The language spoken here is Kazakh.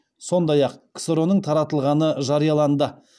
сондай ақ ксро ның таратылғаны жарияланды